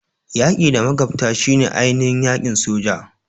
Yaki da magabta shine ainihin aikin soja.